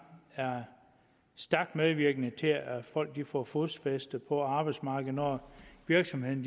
er stærkt medvirkende til at folk får fodfæste på arbejdsmarkedet når virksomheden